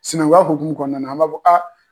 Sinamuya hukumu kɔnɔna na an b'a fɔ a